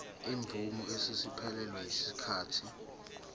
izimvume eseziphelelwe yisikhathi